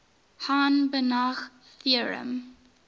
hahn banach theorem